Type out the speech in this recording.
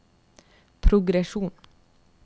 progresjon